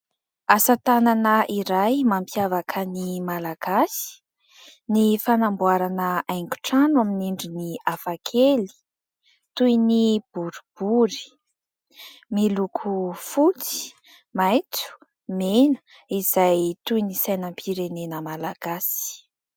Asa tanana iray mampiavaka ny Malagasy ny fanamboarana haingotrano amin'ny endriny hafa kely toy ny boribory. Miloko fotsy, maitso, mena izay toy ny sainam-pirenena malagasy.